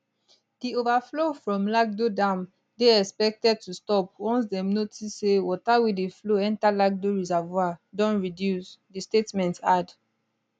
di overflow from lagdo dam dey expected to stop once dem notice say water wey dey flow enta lagdo reservoir don reduce di statement add